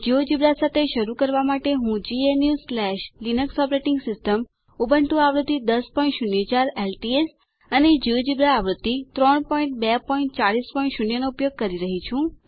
GeoGebra સાથે શરુ કરવા માટે હું gnuલિનક્સ ઓપરેટિંગ સિસ્ટમ ઉબુન્ટુ આવૃત્તિ 1004 એલટીએસ અને જિયોજેબ્રા આવૃત્તિ 32400 નો ઉપયોગ કરી રહી છું